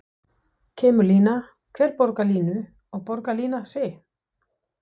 Kemur lína, hver borgar línu og borgar lína sig?